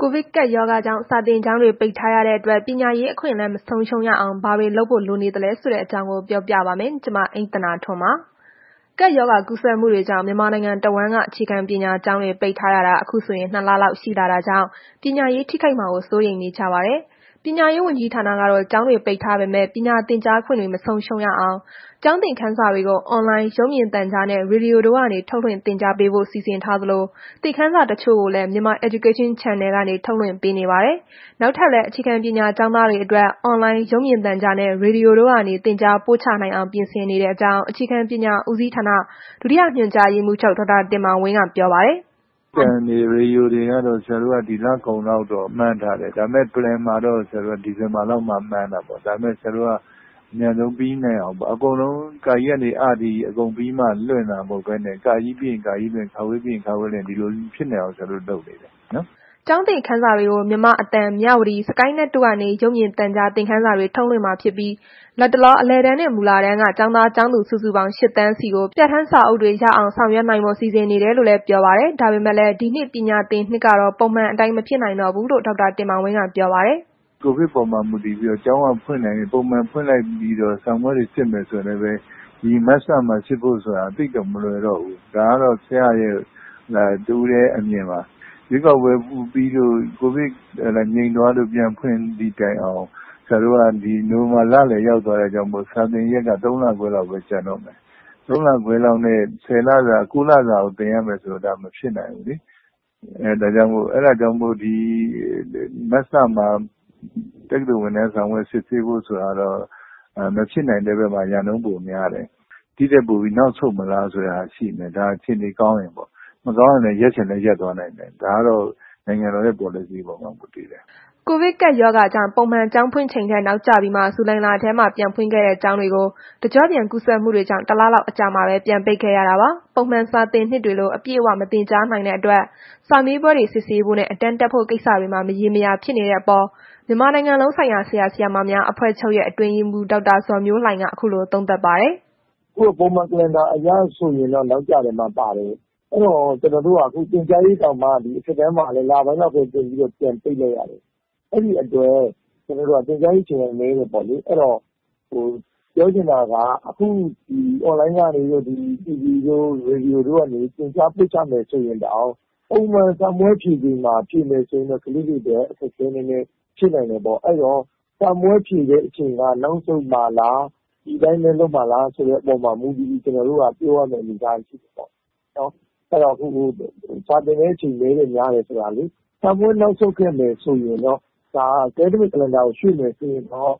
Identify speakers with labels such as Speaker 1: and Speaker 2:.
Speaker 1: ကိုဗစ်ကပ်ရောဂါကြောင့် စာသင်ကျောင်းတွေ ပိတ်ထားရတဲ့အတွက် ပညာရေးအခွင့်အလမ်း မဆုံးရှုံးရအောင် ဘာတွေလုပ်ဖို့ လိုနေသလဲဆိုတဲ့အကြောင်းကို ဗွီအိုအေမြန်မာပိုင်းသတင်းထောက် မအိမ့်သန္တာထွန်းက ပြောပြပါမယ်။ ကပ်ရောဂါကူးစက်မှုတွေကြောင့် မြန်မာနိုင်ငံတဝန်းက အခြေခံပညာကျောင်းတွေ ပိတ်ထားရတာ အခုဆိုရင် ၂ လလောက် ရှိလာတာကြောင့် ပညာရေး ထိခိုက်မှာ စိုးရိမ်နေကြပါတယ်။ ပညာရေးဝန်ကြီးဌာနကတော့ ကျောင်းတွေပိတ်ထားပေမဲ့ ပညာသင်ကြားခွင့်တွေ မဆုံးရှုံးအောင် ကျောင်းသင်ခန်းစာတွေကို အွန်လိုင်း၊ ရုပ်မြင်သံကြားနှင့် ရေဒီယိုတို့ကနေ ထုတ်လွှင့်သင်ကြားဖို့ စီစဉ်ထားသလို သင်ခန်းစာ တချို့ကိုလည်း Myanmar Education Channel ကနေ ထုတ်လွှင့်ပေးနေပါတယ်။ နောက်ထပ်လည်း အခြေခံပညာကျောင်းသားတွေအတွက် အွန်လိုင်း၊ ရုပ်မြင်သံကြားနဲ့ ရေဒီယိုတွေကနေ သင်ကြားပို့ချနိုင်အောင် ပြင်ဆင်နေကြောင်း အခြေခံပညာ ဦးစီးဌာန ဒုတိယညွှန်ကြားရေးမှူးချုပ် ဒေါက်တာတင်မောင်ဝင်းက ပြောပါတယ်။ “
Speaker 2: ရုပ်သံတွေ၊ ရေဒီယိုတွေကတော့ ဆရာတို့ ဒီလကုန်လောက်တော့ မှန်းထားတယ်။ ဒါပေမဲ့ Plan မှာကတော့ ဆရာတို့က ဒီဇင်ဘာလောက်မှ မှန်းထားတာ၊ ဒါပေမဲ့ ဆရာတို့က အမြန်ဆုံးပြီးနိုင်အောင်ပေါ့၊ အကုန်လုံး ကကြီးကနေ အ ထိ အကုန်ပြီးမှ လွင့်တာ မဟုတ်ဘဲနဲ့ ကကြီးပြီးရင် ကကြီးလွှင့် ခခွေးပြီးရင် ခခွေးလွှင့် ဒီလိုဖြစ်နိုင်အောင် ဆရာတို့လုပ်နေတယ်
Speaker 1: ။” ကျောင်းသင်ခန်းစာတွေကို မြန်မာ့အသံ၊ မြဝတီ၊ SKY NET တို့ကနေ ရုပ်မြင်သံကြား သင်ခန်းစာတွေ ထုတ်လွှင့်မှာဖြစ်ပြီး လတ်တလော အလယ်တန်းနှင့် မူလတန်းတန်းကျောင်းသားကျောင်းသူ စုစုပေါင်း ၈,၀၀၀,၀၀၀ ဆီကို ပြဌာန်းစာအုပ်တွေရောက်အောင် ဆောင်ရွက်နိုင်ဖို့ စီစဉ်နေတယ်လို့လည်း ပြောပါတယ်။ ဒါပေမဲ့လည်း ဒီနှစ်ပညာသင်နှစ်ကတော့ ပုံမှန်အတိုင်း မဖြစ်နိုင်ဘူးလို့လည်း ဒေါက်တာတင်မောင်ဝင်းက ပြောပါတယ်။
Speaker 2: “ကိုဗစ်ပေါ်မှာ မူတည်ပြီးတော့ ကျောင်းက ဖွင့်နိုင်ရင် ပုံမှန်ပြန်ဖွင့်လိုက်ပြီးတော့ စာမေးပွဲတွေစစ်မယ်ဆိုရင်လည်းပဲ ဒီမတ်လမှာ စစ်ဖို့ဆိုတာ သိပ်တော့ မလွယ်တော့ဘူး။ ဒါကတော့ ဆရာ့ရဲ့ တစ်ဦးတည်း အမြင်ပါ။ ရွေးကောက်ပွဲပြီးရင် ကိုဗစ်ငြိမ်သွားလို့ ပြန်ဖွင့်သည့်တိုင်အောင် ဆရာတို့က နိုဝင်ဘာလလယ်ထိ ရောက်သွားတဲ့ အတွက်ကြောင့်မို့ စာသင်ရက်က ၃ လခွဲလောက်ပဲ ကျန်တော့မယ်။ ၃လ ခွဲလောက်နဲ့ ၉ လစာကို သင်ရမယ်ဆိုရင် ဒါက မဖြစ်နိုင်ဘူးလေ။ အဲ့ဒါကြောင့်မို့ မတ်လမှာ တက္ကသိုလ်ဝင်တန်းစာမေးပွဲ စစ်ဆေးဖို့ဆိုတာတော့ မဖြစ်နိုင်တဲ့ဘက်မှာ ရာနှုန်းပိုများတယ်။ ဒီ့ထက်နောက်ဆုတ်မလားဆိုတဲ့ အခြေအနေရှိတယ်၊ ဒါက အခြေအနေကောင်းရင်ပေါ့။ မကောင်းရင် ရပ်ရင်လည်း ရပ်သွားနိုင်တယ် ဒါကတော့ နိုင်ငံတော်ရဲ့ ပေါ်လစီအပေါ်မှာ မူတည်တာပ
Speaker 1: ေါ့။” ကပ်ရောဂါကြောင့် ပုံမှန်ကျောင်းဖွင့်ချိန်ထက် နောက်ကျပြီး ဇူလိုင်လထဲမှာ ပြန်ဖွင့်ခဲ့တဲ့ကျောင်းတွေကို တကျော့ပြန် ကူးစက်မှုတွေကြောင့် ၁ လလောက်အကြာမှာပဲ ပြန်ပိတ်ခဲ့ရတာပါ။ ပုံမှန်စာသင်နှစ်တွေလို အပြည့်အ၀ မသင်ကြားနိုင်တဲ့အတွက် စာမေးပွဲတွေ စစ်ဆေးဖို့နဲ့ အတန်းတက်ဖို့ ကိစ္စတွေမှာ မရေမရာဖြစ်နေတဲ့အပေါ် မြန်မာနိုင်ငံလုံးဆိုင်ရာ ဆရာဆရာမများ အဖွဲ့ချုပ်ရဲ့ အတွင်းရေးမှူး ဒေါက်တာဇော်မျိုးလှိုင်က ခုလို သုံးသပ်ပါတယ်။ “
Speaker 3: အခုက ပုံမှန် Calendar အရဆိုရင်တော့ နောက်ကျတဲ့ အထဲမှာပါတယ်။ အဲ့တော့ သင်ကြားရေးတာင်မှ အထက်တန်းကို လပိုင်းလောက်ပဲ သင်ပြီးတော့ ပြန်ပိတ်လိုက်ရတယ်။ အဲ့ဒီအတွက် ကျနော်တို့ သင်ကြားရေး အချိန်ကနည်းတယ်ပေါ့လေ။ အဲ့ဒီတော့ အွန်လိုင်းတို့ TV တို့ ရေဒီယိုတို့ကနေ ပို့ချမယ်ဆိုရင်တောင် ပုံမှန်စာမေးပွဲဖြေချိန်မှာ ဖြေမယ်ဆိုရင်တော့ သူတို့တွေအတွက် အခက်အခဲနည်းနည်းဖြစ်နိုင်တယ်ပေါ့၊ အဲ့တော့ စာမေးပွဲဖြေတဲ့ အချိန်က နောက်ဆုတ်မှာလား ဒီအတိုင်းပဲထားမှာလား ဆိုတဲ့ အပေါ်မှာမူတည်ပြီးကျွန်တော်တို့က ပြောရမယ့် အနေအထားရှိတယ်။ စာသင်တဲ့အချိန်နည်းတယ်များတယ် ဆိုတာလေ စာမေးပွဲနောက်ဆုတ်ခဲ့မယ်ဆိုရင်တော့ ဒါ Academic Calendar ကို ရွေ့မယ်ဆိုရင်တော့